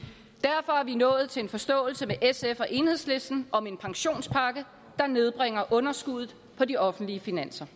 nået til en forståelse med sf og enhedslisten om en pensionspakke der nedbringer underskuddet på de offentlige finanser